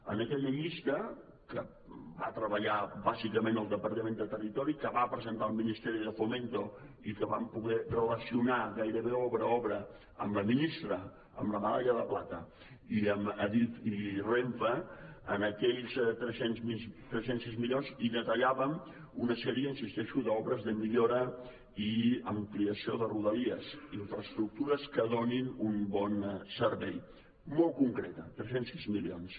en aquella llista que hi va treballar bàsicament el departament de territori que va presentar al ministerio de fomento i que vam poder relacionar gairebé obra a obra amb la ministra amb la medalla de plata i amb adif i renfe en aquells tres cents i sis milions hi detallàvem una sèrie hi insisteixo d’obres de millora i ampliació de rodalies infraestructures que donin un bon servei molt concreta tres cents i sis milions